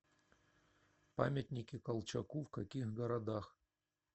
памятники колчаку в каких городах